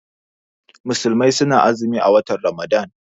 Musulmai suna azumi a watan ramadan.